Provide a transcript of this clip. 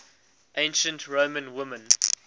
ancient roman women